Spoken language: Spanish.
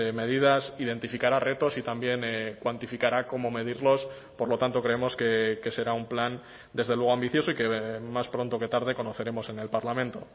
medidas identificará retos y también cuantificará cómo medirlos por lo tanto creemos que será un plan desde luego ambicioso y que más pronto que tarde conoceremos en el parlamento